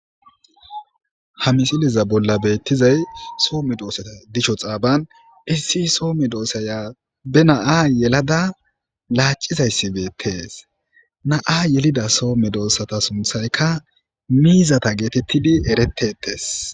Ha misileza bolla betizay so medosata disho xaban issi soo medosaya be na'a yelada lacizaysi betes na'a yelada so medosata sunthayka mizata getetidi eretetes